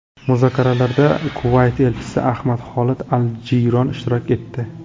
Muzokaralarda Kuvayt elchisi Ahmad Xolid al-Jiyron ishtirok etdi.